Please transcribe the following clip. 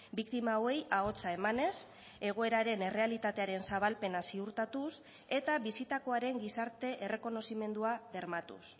biktima hauei ahotsa emanez egoeraren errealitatearen zabalpena ziurtatuz eta bizitakoaren gizarte errekonozimendua bermatuz